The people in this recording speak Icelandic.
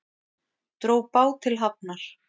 Dró bát til hafnar